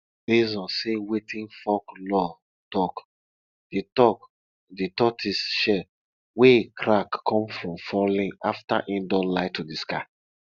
base on sey wetin folklore talk de talk de tortoise shell wey crack come from falling after e don lie to de sky